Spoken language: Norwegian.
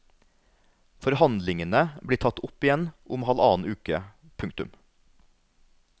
Forhandlingene blir tatt opp igjen om halvannen uke. punktum